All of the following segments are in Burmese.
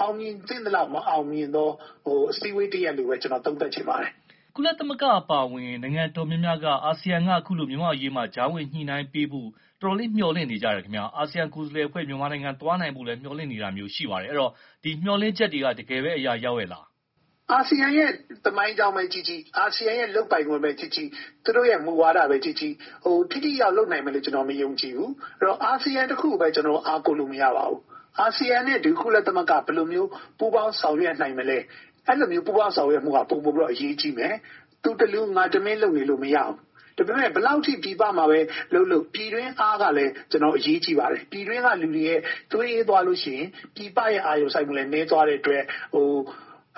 အောင်မြင်သင့်သလောက် မအောင်မြင်သော အစည်းအဝေးတရပ်လို့ပဲ ကျနော် သုံးသပ်ချင်ပါတယ်။” ကိုသားညွန့်ဦး - ကုလသမဂ္ဂ အပါအဝင် နိုင်ငံတော်တော်များများက အာဆီယံက အခုလို မြန်မာ့အရေးမှာ ကြားဝင်ညှိနှိုင်းပေးဖို့ တော်တော်လေး မျှော်လင့်နေကြတယ်ခင်ဗျ။ အာဆီယံ ကိုယ်စားလှယ်အဖွဲ့ မြန်မာနိုင်ငံ သွားနိုင်ဖို့လည်း မျှော်လင့်နေတာမျိုး ရှိပါတယ်။ အဲဒီတော့ ဒီမျှော်လင့်ချက်တွေက တကယ်ပဲ အရာရောက်ရဲ့လား။ ဦးအောင်မျိုးမင်း - “အာဆီယံရဲ့ သမိုင်းကြောင်းပဲကြည့်ကြည့်၊ အာဆီယံရဲ့ လုပ်ပိုင်ခွင့်ပဲကြည့်ကြည့်၊ သူတို့ရဲ့ မူဝါဒပဲကြည့်ကြည့် ထိထိရောက်ရောက် လုပ်နိုင်မယ်လို့ ကျနော် မယုံကြည်ဘူး။ အာဆီယံတခုကိုပဲ ကျနော်တို့ အားကိုးလို့ မရပါဘူး။ အာဆီယံနဲ့ ကုလသမဂ္ဂ ဘယ်လိုမျိုး ပူးပေါင်းဆောင်ရွက်နိုင်မလဲ၊ အဲလိုမျိုး ပူးပေါင်းဆောင်ရွက်မှုက ပိုမိုပြီးတော့ အရေးကြီးမယ်။ သူတလူ ငါတမင်း လုပ်နေလို့ မရဘူး။ ဒါပေမယ့် ဘယ်လောက်အထိ ပြည်ပမှာပဲလုပ်လုပ် ပြည်တွင်းအားကလည်း အရေးကြီးပါတယ်။ ပြည်တွင်းကလူတွေ သွေးအေးသွားလို့ရှိရင် ပြည်ပရဲ့ အာရုံစိုက်မှုလည်း နည်းသွားတဲ့အတွက်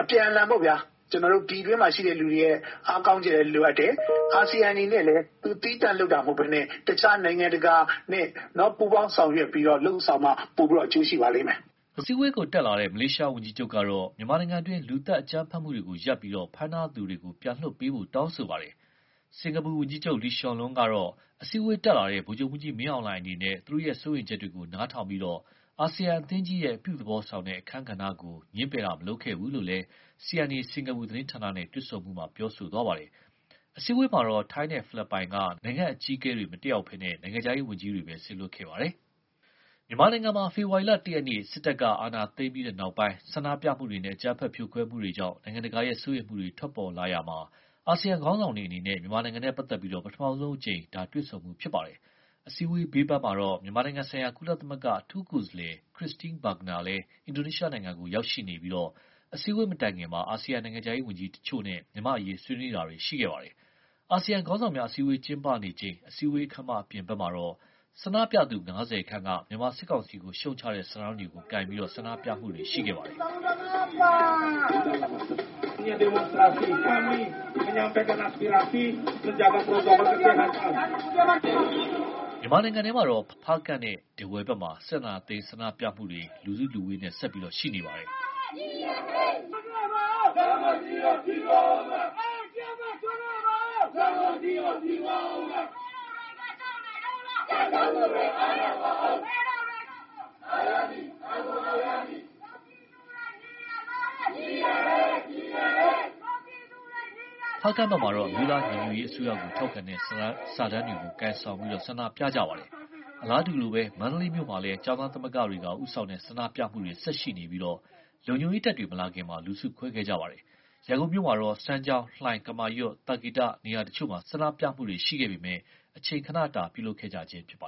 အပြန်အလှန်ပေါ့ဗျာ၊ ပြည်တွင်းမှာရှိတဲ့လူတွေရဲ့ အားကောင်းချက်လည်း လိုအပ်တယ်။ အာဆီယံ အနေနဲ့လည်း သူ သီးသန့်လုပ်တာ မဟုတ်ဘဲနဲ့ တခြား နိုင်ငံတကာနဲ့ ပူးပေါင်းဆောင်ရွက်ပြီးတော့ လုပ်ဆောင်မှ ပိုပြီးတော့ အကျိုးရှိပါလိမ့်မယ်။” အစည်အဝေးတက်လာတဲ့ မလေးရှားဝန်ကြီးချုပ်ကတော့ မြန်မာနိုင်ငံတွင်း လူသတ် အကြမ်းဖက်မှုတွေကို ရပ်ပြီး ဖမ်းထားသူတွေကို ပြန်လွှတ်ပေးဖို့ တောင်းဆိုပါတယ်။ စင်ကာပူဝန်ကြီးချုပ် Lee Hsien Loong ကတော့ အစည်အးဝေးတက်လာတဲ့ ဗိုလ်ချုပ်မှူးကြီးမင်းအောင်လှိုင် အနေနဲ့ သူတို့ရဲ့ စိုးရိမ်ချက်တွေကို နားထောင်ပြီး အာဆီယံအသင်းကြီးရဲ့ အပြုသဘောဆောင်တဲ့ အခန်းကဏ္ဍကိုလည်း ငြင်းပယ်မှု မလုပ်ခဲ့ဘူးလို့ CNA စင်ကာပူသတင်းဌာနနဲ့ တွေ့ဆုံမှုမှာ ပြောခဲ့ပါတယ်။ အစည်းအဝေးမှာတော့ ထိုင်းနဲ့ ဖိလစ်ပိုင်က နိုင်ငံအကြီးအကဲတွေ မတက်ရောက်ဘဲ နိုင်ငံခြားရေးဝန်ကြီးတွေပဲ စေလွှတ်ခဲ့ပါတယ်။ မြန်မာနိုင်ငံမှာ ဖေဖော်ဝါရီလ ၁ ရက်နေ့ စစ်တပ်က အာဏာသိမ်းပြီးတဲ့နောက် ဆန္ဒပြမှုတွေနဲ့ အကြမ်းဖက် ဖြိုခွဲမှုတွေကြောင့် နိုင်ငံတကာရဲ့ စိုးရိမ်မှုတွေ ထွက်ပေါ်လာရာမှာ အာဆီယံခေါင်းဆောင်တွေ အနေနဲ့ မြန်မာနိုင်ငံနဲ့ ပတ်သက်လို့ ပထမဆုံးအကြိမ် တွေ့ဆုံမှု ဖြစ်ပါတယ်။ အစည်းအဝေး ဘေးပန်းမှာတော့ မြန်မာနိုင်ငံဆိုင်ရာ ကုလသမဂ္ဂ အထူးကိုယ်စားလှယ် Christine Schraner Burgener လည်း အင်ဒိုနီးရှားကို ရောက်ရှိနေပြီး အစည်းအဝေး မတိုင်ခင်မှာ အာဆီယံ နိုင်ငံခြားရေးဝန်ကြီးတချို့နဲ့ မြန်မာ့အရေး ဆွေးနွေးတာတွေ ရှိခဲ့ပါတယ်။ အာဆီယံခေါင်းဆောင်များ အစည်းအဝေး ကျင်းပနေချိန် အစည်းအဝေးခန်းမ အပြင်မှာတော့ ဆန္ဒပြသူ ၅၀ ခန့်က မြန်မာစစ်ကောင်စီကို ရှုတ်ချတဲ့ စာတန်းတွေ ကိုင်ဆောင်ပြီး ဆန္ဒပြတာတွေ ရှိခဲ့ပါတယ်။ မြန်မာနိုင်ငံထဲမှာတော့ ဖားကန့်နဲ့ ထားဝယ်ဘက်မှာ စစ်အာဏာသိမ်း ဆန္ဒပြမှုတွေ ဆက်ရှိနေပါတယ်။ ဖားကန့်မှာတော့ အမျိုးသားညီညွတ်ရေးအစိုးရကို ထောက်ခံတဲ့ စာတန်းတွေကို ကိုင်ဆောင်ပြီး ဆန္ဒပြကြတာပါ။ အလားတူပဲ မန္တလေးမြို့မှာလည်း ကျောင်းသားသမဂ္ဂတွေက ဦးဆောင်တဲ့ ဆန္ဒပြပွဲတွေ ဆက်ရှိနေပြီး လုံခြုံရေးတပ်တွေ မလာခင်မှာ လူစုခွဲခဲ့ကြပါတယ်။ ရန်ကုန်မှာတော့ စမ်းချောင်း၊ လှိုင်၊ ကမာရွတ်၊ သာကေတ နေရာတချို့မှာ ဆန္ဒပြမှုတချို့ ရှိခဲ့ပေမယ့် အချိန်ခဏတာ ပြုလုပ်ခဲ့ကြခြင်း ဖြစ်ပါ